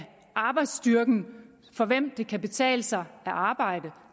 arbejdsstyrken for hvem det kan betale sig at arbejde